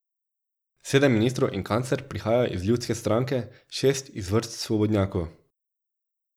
Sedem ministrov in kancler prihajajo iz ljudske stranke, šest iz vrst svobodnjakov.